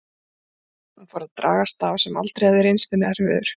Hún fór að draga staf sem alltaf hafði reynst henni erfiður.